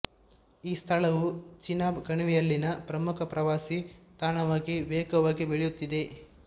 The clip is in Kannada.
ಈ ಸ್ಥಳವು ಚೆನಾಬ್ ಕಣಿವೆಯಲ್ಲಿನ ಪ್ರಮುಖ ಪ್ರವಾಸಿ ತಾಣವಾಗಿ ವೇಗವಾಗಿ ಬೆಳೆಯುತ್ತಿದೆ